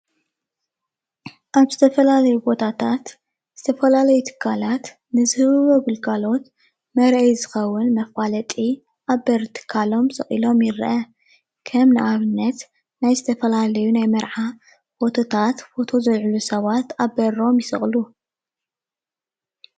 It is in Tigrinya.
እዚ ምስሊ ስራሕቲ ምስልን ስእልን ጉልጋሎት ዝወሃበሉ ገዛ እዩደ